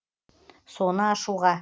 соны ашуға